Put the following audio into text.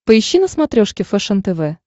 поищи на смотрешке фэшен тв